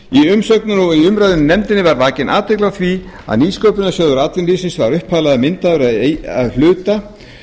umsögnum og í umræðum í nefndinni var vakin athygli á því að nýsköpunarsjóður atvinnulífsins var upphaflega myndaður að hluta